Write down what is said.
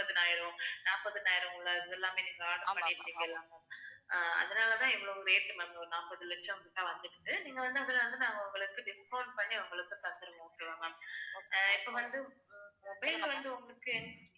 இவ்ளோ இதெல்லாமே நீங்க order பண்ணிருக்கீங்களா ma'am அஹ் அதனால தான் இவ்வளவு rate ma'am ஒரு நாப்பது லட்சம்கிட்ட வந்துடுச்சு நீங்க வந்து அதுல வந்து நாங்க உங்களுக்கு discout பண்ணி உங்களுக்கு தந்துருவோம் okay வா ma'am அஹ் இப்போ வந்து அஹ் mobile வந்து உங்களுக்கு